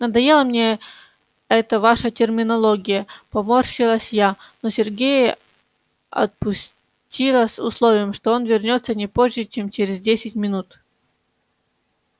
надоела мне эта ваша терминология поморщилась я но сергея отпустила с условием что он вернётся не позже чем через десять минут